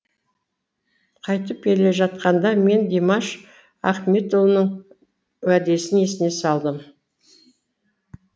қайтып келе жатқанда мен димаш ахметұлының уәдесін есіне салдым